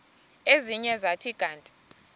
ezinye zathi kanti